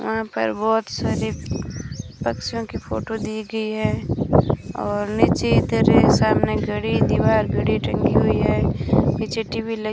वहां पर बहोत सारे पक्षियों की फोटो दी गई है और नीचे इधर एक सामने घड़ी दीवार घड़ी टंगी हुई है पीछे टी_वी लगी --